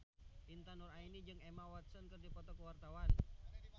Intan Nuraini jeung Emma Watson keur dipoto ku wartawan